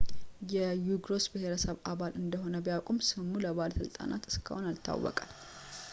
የዩጎርስ ብሄረሰብ አባል እንደሆነ ቢያውቁም ስሙ ለባለሥልጣናት እስካሁን አልታወቀም